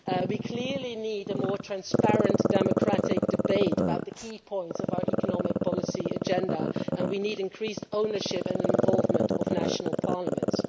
We clearly need a more transparent democratic debate about the key points of our economic policy agenda and we need increased ownership and involvement by national parliaments.